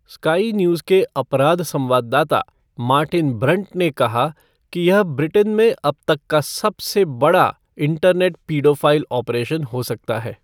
Sky News के अपराध संवाददाता मार्टिन ब्रंट ने कहा कि यह ब्रिटेन में अब तक का सबसे बड़ा इंटरनेट पीडोफ़ाइल ऑपरेशन हो सकता है।